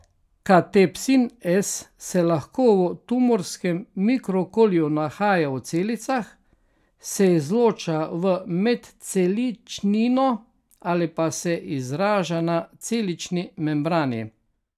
Katepsin S se lahko v tumorskem mikrookolju nahaja v celicah, se izloča v medceličnino ali pa se izraža na celični membrani.